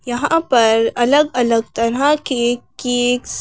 यहां पर अलग-अलग तरह के केक्स --